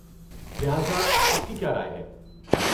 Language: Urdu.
لہٰذا، آپ کی کیا رائے ہے؟